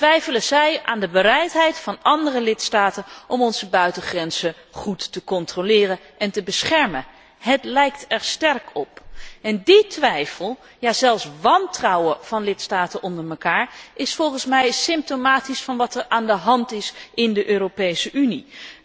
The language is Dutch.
Twijfelen zij aan de bereidheid van andere lidstaten om onze buitengrenzen goed te controleren en te beschermen? Het lijkt er sterk op. Die twijfel, ja zelfs dat wantrouwen, van lidstaten onder elkaar is volgens mij symptomatisch van wat er aan de hand is in de Europese Unie.